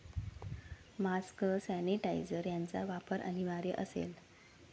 Mask, sanitiser यांचा वापर अनिवार्य असेल.